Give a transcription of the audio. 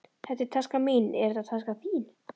Þetta er taskan mín. Er þetta taskan þín?